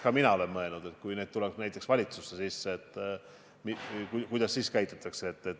Ka mina olen mõelnud, et kui haigestunuid peaks näiteks valitsusse tulema, siis kuidas käituda.